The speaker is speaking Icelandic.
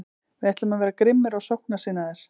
Við ætlum að vera grimmir og sóknarsinnaðir.